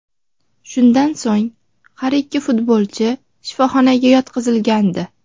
Shundan so‘ng, har ikki futbolchi shifoxonaga yotqizilgandi.